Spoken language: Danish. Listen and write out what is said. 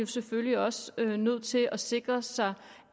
selvfølgelig også nødt til at sikre sig